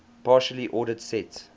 partially ordered set